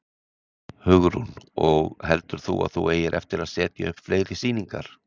Hugrún: Og heldur þú að þú eigir eftir að setja upp fleiri sýningar?